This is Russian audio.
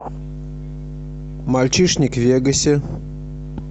мальчишник в вегасе